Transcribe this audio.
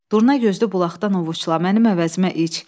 Durnagözlü bulaqdan ovucda mənim əvəzimə iç.